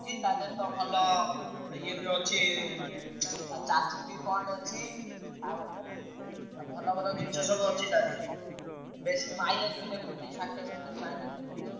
ତା ଧିଅରେ ତ ଭଲ ଇଏ ବି ଅଛି ଉଁ ତା charging ବି point ଅଛି। ଆଉ ଭଲ ଭଲ ଜିନିଷ ସବୁ ଅଛି ତା ଧିଅରେ ବେଶୀ mileage ବି ଦେଖଉଛି ଷାଠିଏ ସତୁରୀ mileage ଦେଖଉଛି।